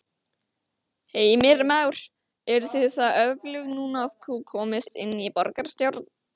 Heimir Már: Eruð þið það öflug núna að þú komist inn í borgarstjórn?